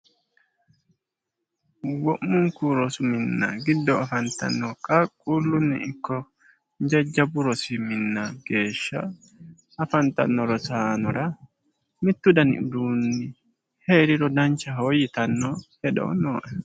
Wo'muniku rosu minna giddo afanitanno qaaqulunni ikko jajjaba rosi minna geesha afanitanno rosaanora mittu dani uduuni heeriro danichaho yitanno hedo nooe